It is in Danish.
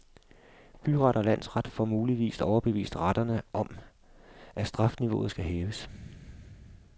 Byret og landsret får muligvis overbevist retterne om, at strafniveauet skal hæves.